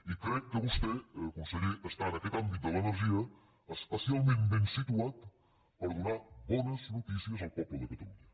i crec que vostè conseller està en aquest àmbit de l’energia especialment ben situat per donar bones notícies al poble de catalunya